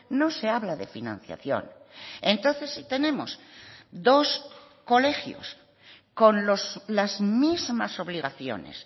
no se habla de financiación entonces si tenemos dos colegios con las mismas obligaciones